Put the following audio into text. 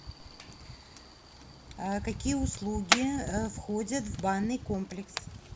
какие услуги входят в банный комплекс